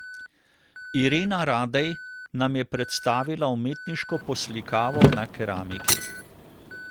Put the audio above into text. Irena Radej nam je predstavila umetniško poslikavo na keramiki.